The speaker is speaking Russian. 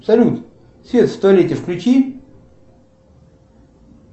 салют свет в туалете включи